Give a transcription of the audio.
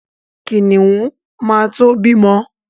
Kìnìún ma to bímọ.